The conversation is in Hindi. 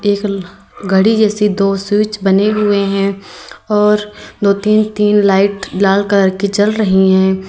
एक घड़ी जैसी दो स्वीच बने हुए हैं और दो तीन तीन लाइट लाल कलर की जल रही है।